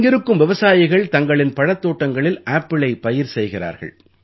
இங்கிருக்கும் விவசாயிகள் தங்களின் பழத்தோட்டங்களில் ஆப்பிளை பயிர் செய்கிறார்கள்